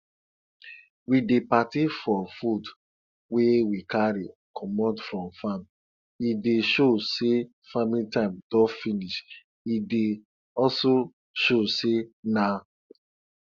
we dey party for food wey we carry comot from farm e dey show say farming time don finish e dey also show say na